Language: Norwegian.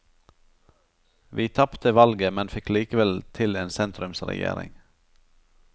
Vi tapte valget, men fikk likevel til en sentrumsregjering.